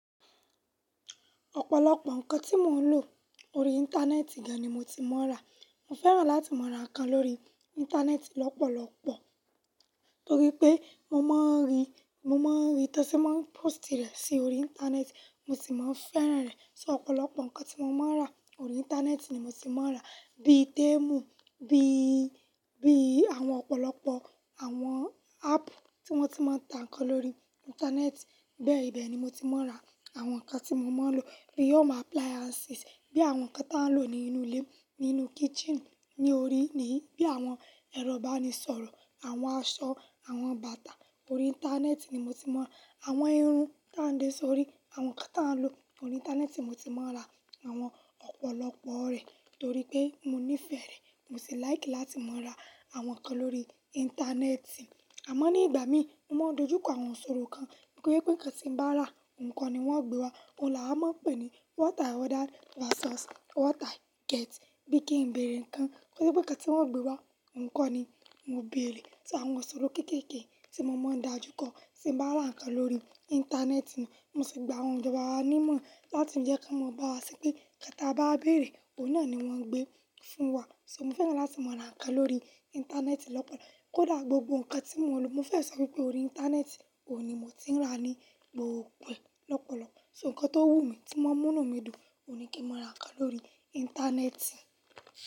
Ọ̀pọ̀lọpọ̀ nǹkan tí mò ń lò lórí Íńtánẹ́ẹ̀tì gan ni mo ti máa ń rà. Mo fẹ́ràn láti máa ra nǹkan lórí Íńtánẹ́ẹ̀tì lọ́pọ̀lọpọ̀ torí pé mo máa ń rí, mo máa ń rí tó ṣe máa ń pósìtì rẹ̀ sí orí Íńtánẹ́ẹ̀tì, mo sì máa ń fẹ́ràn rẹ̀. So ọ̀pọ̀lọpọ̀ nǹkan tí mo máa ń rà lórí Íńtánẹ́ẹ̀tì ni mo ti máa ń rà, bíi témù, bíi, bíi àwọn ọ̀pọ̀lọpọ̀ àwọn áàpù tí wọ́n ti máa ń ta nǹkan lórí Íńtánẹ́ẹ̀tì bẹ́ẹ̀ bẹ́ẹ̀ ni mo ti máa ń rà àwọn nǹkan tí mo máa ń lò. Bí i home appliances, bí i àwọn nǹkan tí a ń lò nínú ilé, nínú kítṣììnì, ní orí, ní, bí i àwọn ẹrọ ìbánisọ̀rọ̀, àwọn aṣọ, àwọn bàtà. Lórí Íńtánẹ́ẹ̀tì ni mo ti mọ̀. Àwọn irun táǹdé sórí, àwọn nǹkan tí a ń lò. Lórí Íńtánẹ́ẹ̀tì mo ti máa ń rà àwọn ọ̀pọ̀lọpọ̀ rẹ̀ torí pé mo nífẹ̀ẹ́ rẹ̀, mo sì láìkì láti máa ra àwọn nǹkan lórí Íńtánẹ́ẹ̀tì. Àmọ́ ní ìgbà mí, mo máa ń dojú kọ àwọn ìsọ̀rọ̀ kan pé kí ègbẹ́nì bá rà, ǹkan ni wọ́n ó gbé wá. Ọun là wá máa ń pè ní "what I order versus what I get." Bí kí ń bèrè ǹkan, kí wípé kí ègbẹ́nì wọ́n gbé wá, ǹkan ni mo ń bèrè. So àwọn sọ̀rọ̀ kéékèèké tí mo máa ń dájú kọ tí mo bá ra nǹkan lórí Íńtánẹ́ẹ̀tì náà, mo sì gba àwọn ìjọba wa níìmọ̀ láti jẹ́ kí wọ́n mọ̀ bá wá ṣo pé kí tà bá béèrè, òun náà ni wọ́n gbé fún wa. So mo fẹ́ràn láti máa ra nǹkan lórí Íńtánẹ́ẹ̀tì lọ́pọ̀lọpọ̀. Kódà gbogbo nǹkan tí mò ń lò, mo fẹ́ sọ wípé orí Íńtánẹ́ẹ̀tì ò ní mo ti ń ra ní gbogbo è lọ́pọ̀lọpọ̀. So nǹkan tó wù mí tí màá múnú mi dùn, ò ní kí mo ra ká n lórí Íńtánẹ́ẹ̀tì.